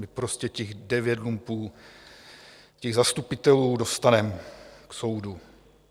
My prostě těch devět lumpů, těch zastupitelů, dostaneme k soudu.